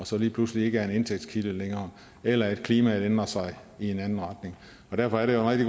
så lige pludselig ikke er en indtægtskilde længere eller at klimaet kan ændre sig i en anden retning og derfor er det jo